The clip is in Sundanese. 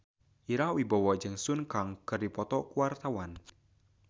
Ira Wibowo jeung Sun Kang keur dipoto ku wartawan